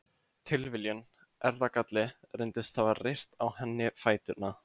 Tilviljun, erfðagalli, reyndist hafa reyrt á henni fæturna.